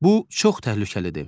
Bu çox təhlükəlidir.